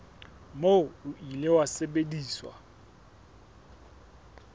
moo o ile wa sebediswa